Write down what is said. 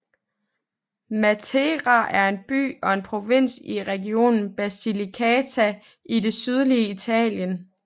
Matera er en by og en provins i regionen Basilicata i det sydlige Italien